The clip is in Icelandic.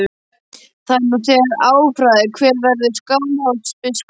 Það er nú þegar afráðið hver verður Skálholtsbiskup.